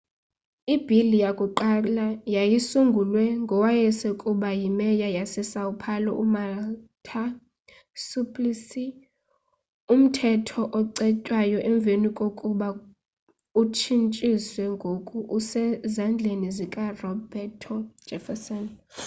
ibill yakuqala yayisulungwe ngowayeaskuba yi mayor yasesão paulo umarta suplicy. umthetho ocetywayo emveni kokuba utshintshiwe ngoku usezzandleni zikaroberto jefferson